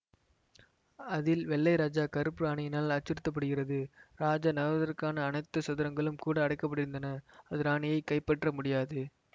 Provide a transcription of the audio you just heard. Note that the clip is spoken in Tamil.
அதில் வெள்ளை ராஜா கருப்பு ராணியினால் அச்சுறுத்தப்படுகிறது ராஜா நகர்வதற்கான அனைத்து சதுரங்களும் கூட அடைபட்டிருக்கின்றன அது ராணியைக் கைப்பற்ற முடியாது